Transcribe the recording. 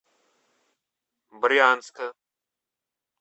брянска